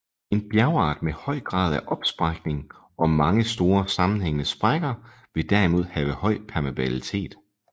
En bjergart med høj grad af opsprækning og mange store og sammenhængede sprækker vil derimod have høj permeabilitet